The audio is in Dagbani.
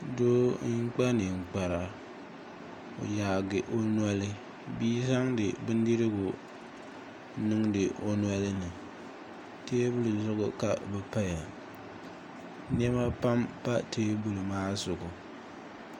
Doo n kpa ninkpara o yaagi o noli bia zaŋdi bindirigu n niŋdi o nolini teebuli zuɣu ka di paya niɛma pam pa teebuli maa zuɣu